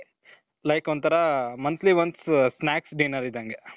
like ಒಂತರಾ monthly once snacks, dinner ಇದ್ದಂಗೆ